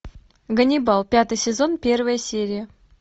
ганнибал пятый сезон первая серия